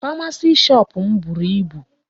Pharmacy shop m buru ibu.